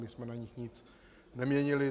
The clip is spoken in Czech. My jsme na nich nic neměnili.